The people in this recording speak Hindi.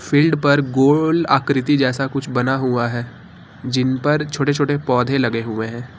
फील्ड पर गोल आकृति जैसा कुछ बना हुआ है जिन पर छोटे छोटे पौधे लगे हुए हैं।